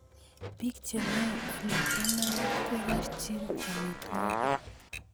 Bik chemei Ole kemeut korerchini amitwogik